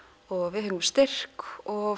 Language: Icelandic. við fengum styrk og